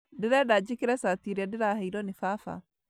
Ndĩrenda njĩkĩre cati ĩrĩa ndĩraheirwo nĩ baba